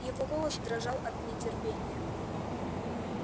его голос дрожал от нетерпения